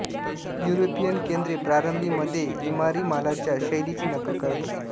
European केंद्रे प्रारंभी मध्ये इमारी मालाच्या शैलीची नकल करत असे